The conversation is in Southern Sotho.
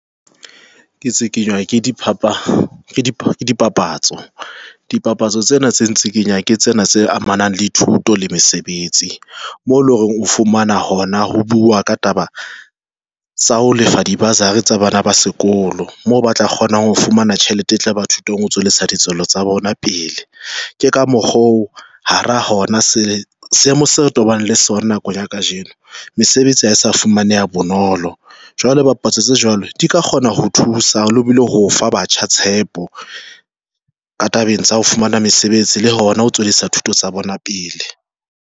Ke tsikinywa dipapatso, dipapatso tsena tse tsikinyang ke tsena tse amanang le thuto le mesebetsi, mo leng hore o fumana hona ho bua ka taba tsa ho lefa di-bursary tsa bana ba sekolo, moo ba tla kgona ho fumana tjhelete e tla ba thutong ho tswelesa ditswelo tsa bona pele ke ka mokgo ha ra hona seemo se re tobane le sona. Nakong ya kajeno mesebetsi ha e sa fumaneha bonolo jwale bapatsa tse jwalo di ka kgona ho thusa lebohile ho fa batjha tshepo ka tabeng tsa ho fumana mesebetsi le hona ho tswadisa thuto tsa bona pele.